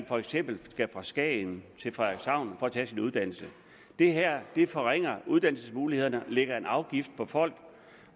for eksempel skal fra skagen til frederikshavn for at tage sin uddannelse det her forringer uddannelsesmulighederne lægger en afgift på folk